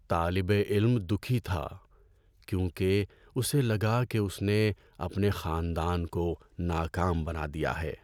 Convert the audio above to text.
طالب علم دکھی تھا کیونکہ اسے لگا کہ اس نے اپنے خاندان کو ناکام بنا دیا ہے۔